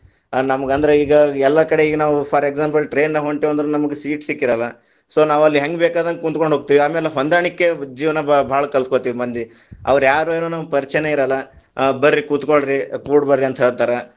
ನಮ್ಗ್ ಅಂದ್ರ ಈಗ ಎಲ್ಲಾ ಕಡೆ ಈಗ ನಾವು for example train ದಾಗ ಹೊಂಟೆವೆಂದ್ರ ನಮಗ seat ಸಿಕ್ಕಿರಲ್ಲ so ನಾವ್‌ ಅಲ್ಲಿ ಹೆಂಗ್ ಬೇಕಾದಂಗ ಕುಂತ್ಕೊಂಡು ಹೋಗ್ತಿವಿ, ಆಮೇಲೆ ಹೊಂದಾಣಿಕೆ ಜೀವನಾ ಭಾಳ್‌~ ಭಾಳ ಕಲ್ಕೊತಿವಿ ಮಂದಿ, ಅವ್ರ ಯಾರೋ ಏನೋ ನಮಗ್‌ ಪರಿಚಯಾನೇ ಇರಲ್ಲ ಆ ಬರ್ರಿ ಕೂತ್ಕೊಳ್ರಿ, ಕೂಡ್ ಬರ್ರಿ ಅಂತ ಹೇಳ್ತಾರಾ.